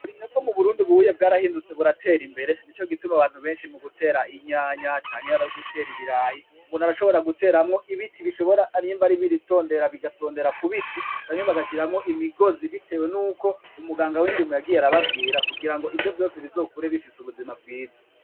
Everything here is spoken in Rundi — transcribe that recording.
Uburimyi bwo mu Burundi ubu bwatahindutse buratera imbere nico gituma abantu benshi mu gutera inyanya canke ari ibiraya umuntu arashobora guteramwo ibiti nimba ari ibitondera bigatondera ku biti canke bagaramwo imigozi biteye nuko umuganga w'indimo yagiye arababwira kugira ngo ivyo vyose bizokure bifise ubuzima bwiza.